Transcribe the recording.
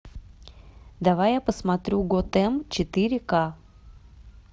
давай я посмотрю готэм четыре ка